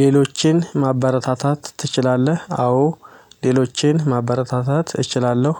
ሌሎችን ማበረታታት ትችላለህ? አዎ ሌሎችን ማበረታታት እችላለሁ።